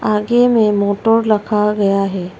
आगे में मोटर रखा गया है।